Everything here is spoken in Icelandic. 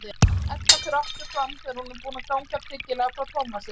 Edda fer aftur fram þegar hún er búin að ganga tryggilega frá Tómasi.